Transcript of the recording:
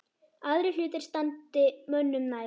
Aðrir hlutir standi mönnum nær.